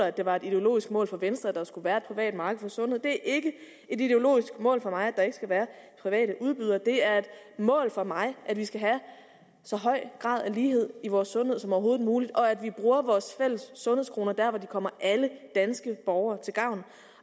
at det var et ideologisk mål for venstre at der skulle være et privat marked for sundhed det er ikke et ideologisk mål for mig at der ikke skal være private udbydere det er et mål for mig at vi skal have så høj grad af lighed i vores sundhed som overhovedet muligt og at vi bruger vores fælles sundhedskroner der hvor de kommer alle danske borgere til gavn